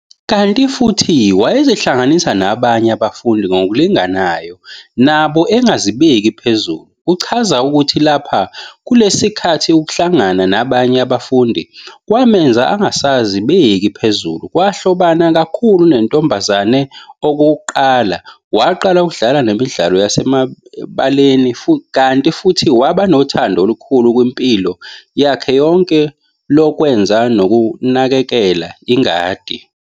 Kanti futhi wayezihlanganisa nabanye abafundi ngokulinganayo nabo engazibeki phezulu, uchaza ukuthi lapha kulesi sikhathi ukuhlangana nabanye abafundi kwamenza angasazibeki phezulu, wahlobana kakhulu nentombazana okokuqala, waqala ukudlala nemidlalo yasemabaleni kanti futhi waba nothando olukhulu kwimpilo yakhe yonke lokwenza nokunakekela ingadi